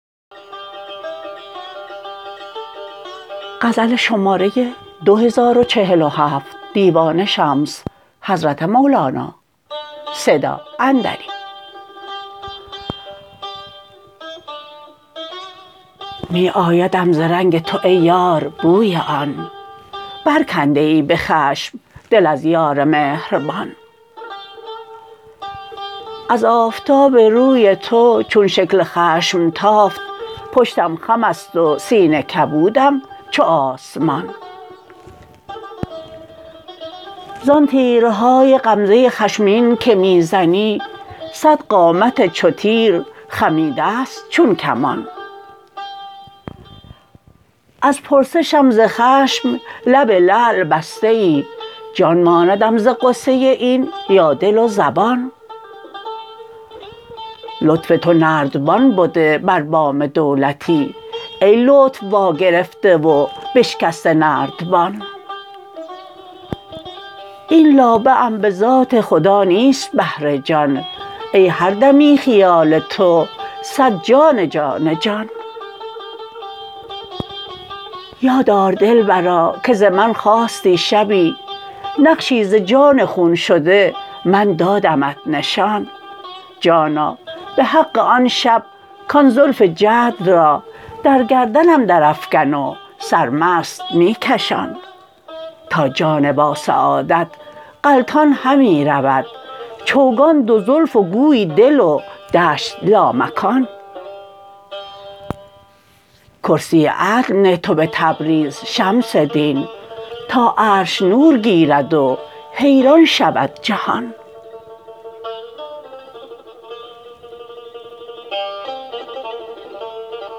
می آیدم ز رنگ تو ای یار بوی آن برکنده ای به خشم دل از یار مهربان از آفتاب روی تو چون شکل خشم تافت پشتم خم است و سینه کبودم چو آسمان زان تیرهای غمزه خشمین که می زنی صد قامت چو تیر خمیده ست چون کمان از پرسشم ز خشم لب لعل بسته ای جان ماندم ز غصه این یا دل و زبان لطف تو نردبان بده بر بام دولتی ای لطف واگرفته و بشکسته نردبان این لابه ام به ذات خدا نیست بهر جان ای هر دمی خیال تو صد جان جان جان یاد آر دلبرا که ز من خواستی شبی نقشی ز جان خون شده من دادمت نشان جانا به حق آن شب کان زلف جعد را در گردنم درافکن و سرمست می کشان تا جان باسعادت غلطان همی رود چوگان دو زلف و گوی دل و دشت لامکان کرسی عدل نه تو به تبریز شمس دین تا عرش نور گیرد و حیران شود جهان